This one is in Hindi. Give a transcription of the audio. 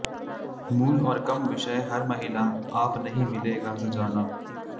मूल और कम विषय हर महिला आप नहीं मिलेगा सजाना